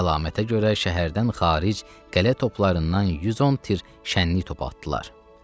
Bu əlamətə görə şəhərdən xaric qələ toplarından 110 tir şənlik top atdılar.